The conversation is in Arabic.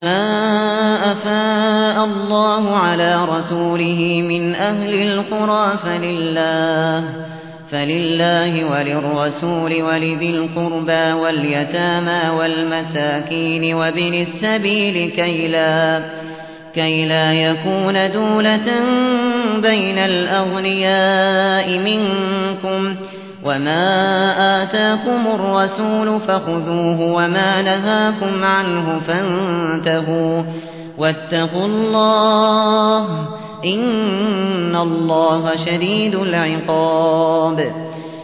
مَّا أَفَاءَ اللَّهُ عَلَىٰ رَسُولِهِ مِنْ أَهْلِ الْقُرَىٰ فَلِلَّهِ وَلِلرَّسُولِ وَلِذِي الْقُرْبَىٰ وَالْيَتَامَىٰ وَالْمَسَاكِينِ وَابْنِ السَّبِيلِ كَيْ لَا يَكُونَ دُولَةً بَيْنَ الْأَغْنِيَاءِ مِنكُمْ ۚ وَمَا آتَاكُمُ الرَّسُولُ فَخُذُوهُ وَمَا نَهَاكُمْ عَنْهُ فَانتَهُوا ۚ وَاتَّقُوا اللَّهَ ۖ إِنَّ اللَّهَ شَدِيدُ الْعِقَابِ